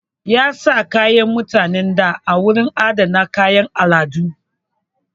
Ya sa kayan mutanen da a wurin adana kayan al'adu.